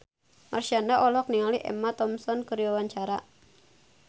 Marshanda olohok ningali Emma Thompson keur diwawancara